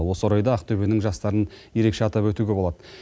осы орайда ақтөбенің жастарын ерекше атап өтуге болады